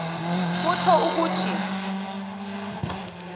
kutjho ukuthi